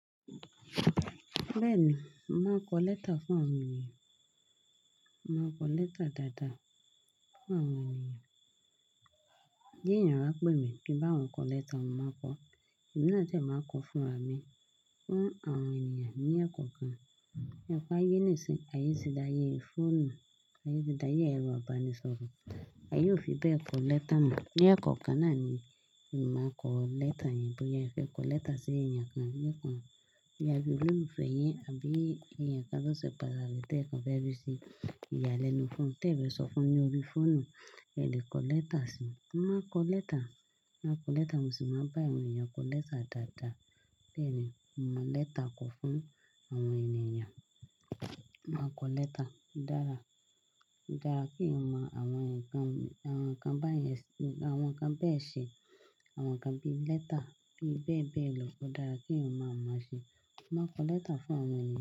Bẹ́ẹ̀ni, mo màá kọ lẹ́tà fún àwọn ènìyàn. Màá kọ lẹ́tà dáadáa fún àwọn ènìyàn. Gẹ́gẹ́ bí ènìyàn bá pè mí pé bá wọn kọ lẹ́tà, màá kọ. Emi náà dẹ́ màá kọ fún ra mi fún àwọn ènìyàn ní ẹ̀kọ́ kan. Ẹ̀kọ́ ayé nìsìnyí, ayé ti dáa, ayé fòònu, ayé ti dáa, ayé ẹ̀rọ amúnisọrọ̀, a yóò fi bẹ́ẹ̀ kọ lẹ́tà mọ̀. Ní ẹ̀kọ́ kan náà ni màá kọ lẹ́tà yẹn. Bóyá afẹ kọ lẹ́tà sí èèyàn kan, yé kọ̀ ọ́. Bí iye ololufe yin àbí èèyàn kan tó ṣe pàtàki tó ẹ̀ kàn fẹ́ bíi ṣẹ ìyàlẹ́nu fún, tẹ́ fẹ́ sọ fún ní orí fóònù, ẹ lè kọ lẹ́tà sí i. Mo màá kọ lẹ́tà, màá kọ lẹ́tà, mo sì máa bá àwọn ènìyàn kọ lẹ́tà dáadáa. Bẹ́ẹ̀ni, mo mọ lẹ́tà kọ fún àwọn ènìyàn. Màá kọ lẹ́tà. Ó dára, ó dára kí eeyan mọ àwọn ǹkan, àwọn ǹkan báyen, àwọn ǹkan bẹ́ẹ̀ ṣe, àwọn ǹkan bí i lẹ́tà, bí bẹ́ẹ̀ bẹ́ẹ̀ lọ. Ó dára kí èèyàn máa mọ̀ máa ṣe. Màá kọ lẹ́tà fún àwọn ènìyàn.